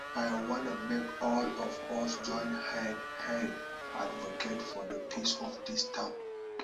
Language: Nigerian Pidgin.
i wan make all of us join hand hand advocate for the peace of dis town